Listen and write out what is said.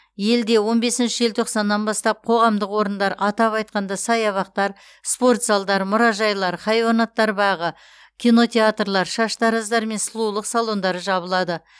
елде он бесінші желтоқсаннан бастап қоғамдық орындар атап айтқанда саябақтар спортзалдар мұражайлар хайуанаттар бағы кинотеатрлар шаштараздар мен сұлулық салондары жабылады